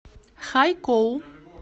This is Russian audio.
хайкоу